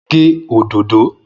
Mò ń gè òdòdò.